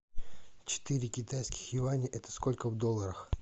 четыре китайских юаня это сколько в долларах